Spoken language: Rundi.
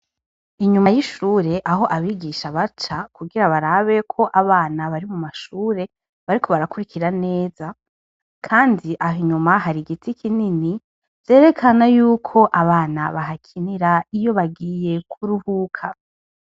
Inyuma y'ishur' ah' abigisha baca, kugira barabek' abana bari mu mashure bariko barakurikira neza, kand' ah' inyuma har' igiti kinini, vyerekana yuk' abana bahakinir' iyo bagiye kuruhuka.